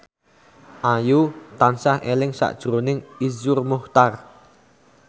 Ayu tansah eling sakjroning Iszur Muchtar